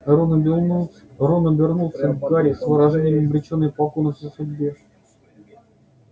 рон обернулся к гарри с выражением обречённой покорности судьбе